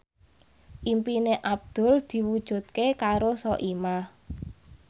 impine Abdul diwujudke karo Soimah